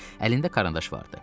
Əlində karandaş vardı.